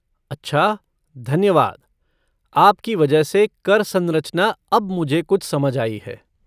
अच्छा, धन्यवाद, आपकी वजह से कर सरंचना अब मुझे कुछ समझ आई है।